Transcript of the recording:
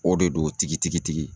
O de do tigitigitigi